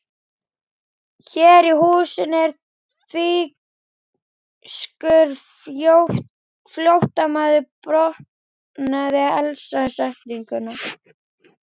Hér í húsinu er þýskur flóttamaður botnaði Elsa setninguna.